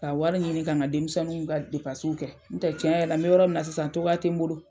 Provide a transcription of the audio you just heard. Ka wari ɲini ka ka denmisɛnninw ka kɛ n tɛ tiɲɛ yɛrɛ la n bɛ yɔrɔ min na sisan togoya tɛ n bolo.